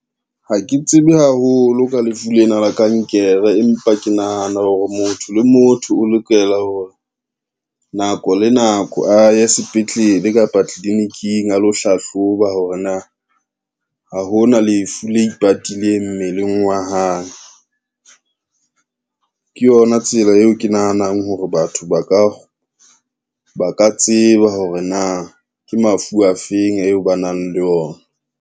Ha ke tsebe haholo ka lefu lena la kankere, empa ke nahana hore motho le motho o lokela hore, nako le nako a ye sepetlele kapa tliliniking a lo hlahloba hore na, ha hona lefu le ipatileng mmeleng wa hae. Ke yona tsela eo ke nahanang hore batho ba ka tseba hore na ke mafu afeng eo ba nang le ona.